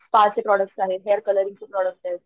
spa चे product आहे hair colouring चे प्रॉडक्ट येत